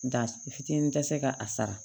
Nka fitinin tɛ se ka a sara